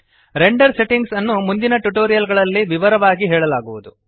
render settings ನ್ನು ಮುಂದಿನ tutorial ಗಳಲ್ಲಿ ವಿವರವಾಗಿ ಹೇಳಲಾಗುವದು